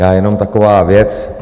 Já jenom taková věc.